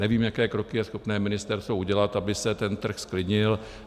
Nevím, jaké kroky je schopné ministerstvo udělat, aby se ten trh zklidnil.